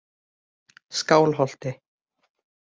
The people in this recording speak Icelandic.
Skálholti